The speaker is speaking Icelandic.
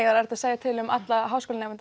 er erfitt að segja til um alla háskólanema